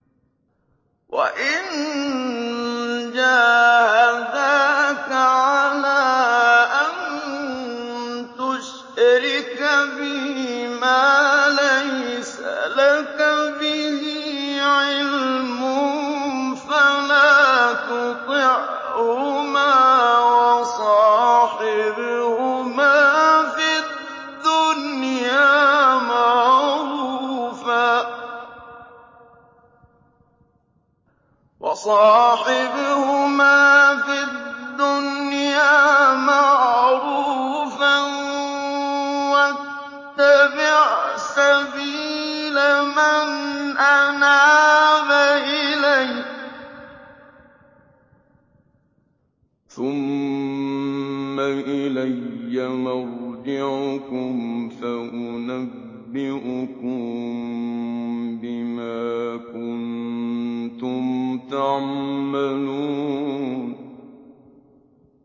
وَإِن جَاهَدَاكَ عَلَىٰ أَن تُشْرِكَ بِي مَا لَيْسَ لَكَ بِهِ عِلْمٌ فَلَا تُطِعْهُمَا ۖ وَصَاحِبْهُمَا فِي الدُّنْيَا مَعْرُوفًا ۖ وَاتَّبِعْ سَبِيلَ مَنْ أَنَابَ إِلَيَّ ۚ ثُمَّ إِلَيَّ مَرْجِعُكُمْ فَأُنَبِّئُكُم بِمَا كُنتُمْ تَعْمَلُونَ